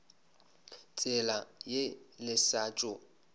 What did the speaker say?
tsela ye le sa tšo